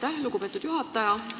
Aitäh, lugupeetud juhataja!